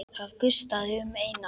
Það gustaði um Einar.